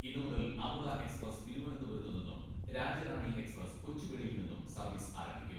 ഇന്നു മുതൽ അമൃത എക്സ്പ്രസ് തിരുവനന്തപുരത്ത് നിന്നും രാജ്യറാണി എക്സ്പ്രസ് കൊച്ചുവേളിയിൽ നിന്നും സർവീസ് ആരംഭിക്കും.